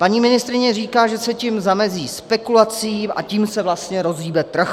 Paní ministryně říká, že se tím zamezí spekulacím, a tím se vlastně rozhýbe trh.